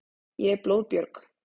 Ég er blóðbjörg.